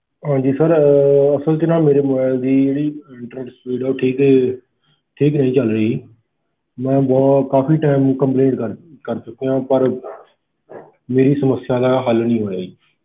ਹਾਂਜੀ sir ਅਹ ਅਸਲ 'ਚ ਨਾ ਮੇਰੇ mobile ਦੀ ਜਿਹੜੀ internet speed ਆ ਉਹ ਠੀਕ ਠੀਕ ਨਹੀਂ ਚੱਲ ਰਹੀ ਮੈਂ ਬਹੁਤ ਕਾਫ਼ੀ time complaint ਕਰ ਕਰ ਚੁੱਕਿਆ ਪਰ ਮੇਰੀ ਸਮੱਸਿਆ ਦਾ ਹੱਲ ਨੀ ਹੋਇਆ ਜੀ।